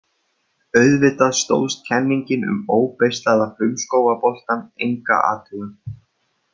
Auðvitað stóðst kenningin um óbeislaða frumskógaboltann enga athugun.